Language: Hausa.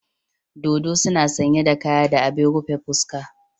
Dodo suna sanye da kaya da abin rufe fuska.